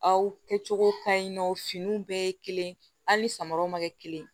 Aw kɛcogo ka ɲi nɔ finiw bɛɛ ye kelen hali ni samaraw ma kɛ kelen ye